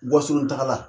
Wasolon tagala